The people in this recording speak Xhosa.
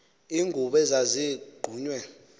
iingubo ezazi gqunywe